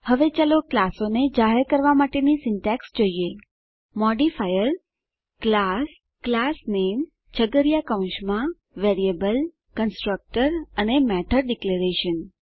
હવે ચાલો ક્લાસોને જાહેર કરવા માટેની સીન્ટેક્ષ જોઈએ મોડિફાયર ક્લાસ classname છગડીયા કૌંસમાં વેરિએબલ કન્સ્ટ્રક્ટર અને મેથોડ ડિક્લેરેશન્સ